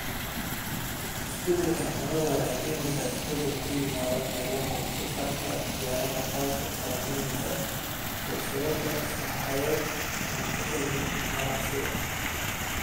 Isbeddelka cimiladu waxay keenaysaa isbeddel ku yimaada meelaha wax-soo-saarka beeraha, taasoo saamaynaysa silsiladaha sahayda cuntada iyo ganacsiga.